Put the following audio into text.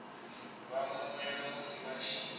vha mwemwele musi vha tshi